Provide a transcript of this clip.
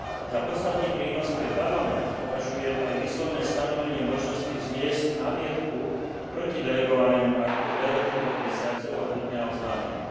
Za podstatný prínos pre Parlament považujem aj výslovné stanovenie možnosti vzniesť námietku proti delegovanému aktu v lehote dvoch mesiacov odo dňa oznámenia.